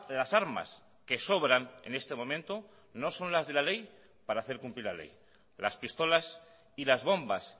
las armas que sobran en este momento no son las de la ley para hacer cumplir la ley las pistolas y las bombas